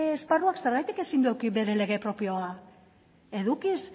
esparruak zergatik ezin du eduki bere lege propioa edukiz